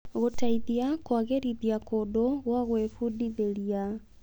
gũteithia kũagĩrithia kũndũ gwa gwĩbundithĩria.